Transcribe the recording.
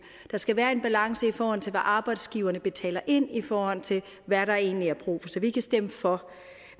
der skal være en balance i forhold til hvad arbejdsgiverne betaler ind i forhold til hvad der egentlig er brug for så vi kan stemme for